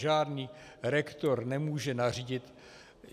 Žádný rektor nemůže nařídit...